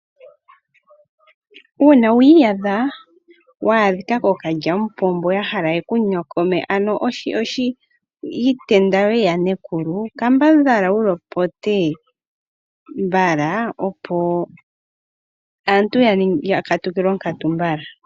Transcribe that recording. Uuna wiiyadha waadhika kookadjampombo yahala yekunyokome ano iintenda yeyanekulu, kambadhala wulopote mbala opo aantu yakatukile onkatu mbala.